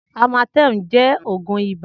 Amatem jẹ̀ ógùn ibà